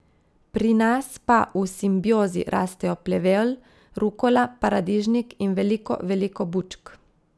Pri nas pa v simbiozi rastejo plevel, rukola, paradižnik in veliko, veliko bučk.